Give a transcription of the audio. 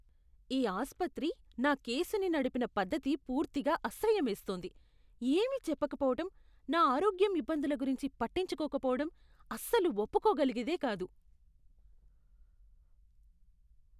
ఈ ఆస్పత్రి నా కేసుని నడిపిన పద్ధతి పూర్తిగా అసహ్యమేస్తోంది.ఏమీ చెప్పకపోవటం, నా ఆరోగ్యం ఇబ్బందుల గురించి పట్టించుకోకపోవటం అస్సలు ఒప్పుకోగలిగేది కాదు.